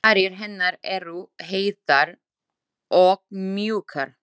Varir hennar eru heitar og mjúkar.